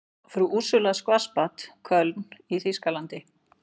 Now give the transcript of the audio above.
Frú Úrsúla Schwarzbad, Köln í þýskalandi.